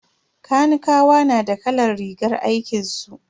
Kanikawa na da kalar rigar aikinsu.